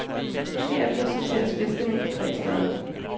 Herefter sorteres fiskene i tre størrelser.